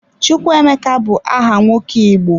Chukwuemeka bu aha nwoke Igbo.